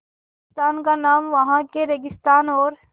राजस्थान का नाम वहाँ के रेगिस्तान और